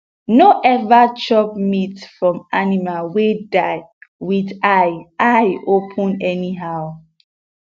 no ever chop meat from animal wey die with eye eye open anyhow